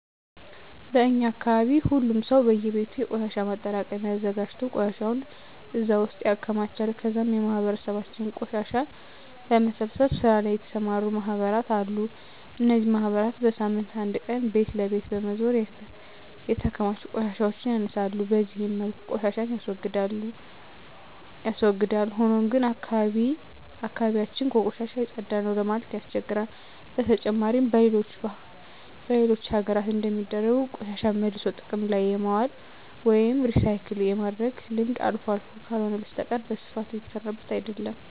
በእኛ አካባቢ ሁሉም ሰው በእየቤቱ የቆሻሻ ማጠራቀሚያ አዘጋጅቶ ቆሻሻውን እዛ ውስጥ ያከማቻል ከዛም በማህበረሰባችን ቆሻሻን በመሰብሰብ ስራ ላይ የተሰማሩ ማህበራት አሉ። እነዚህ ማህበራት በሳምንት አንድ ቀን ቤት ለቤት በመዞር የተከማቹ ቆሻሻዎችን ያነሳሉ። በዚህ መልኩ ቆሻሻን ያስወግዳል። ሆኖም ግን አካባቢ ያችን ከቆሻሻ የፀዳ ነው ለማለት ያስቸግራል። በተጨማሪም በሌሎች ሀገራት እንደሚደረገው ቆሻሻን መልሶ ጥቅም ላይ የማዋል ወይም ሪሳይክል የማድረግ ልምድ አልፎ አልፎ ካልሆነ በስተቀረ በስፋት እየተሰራበት አይደለም።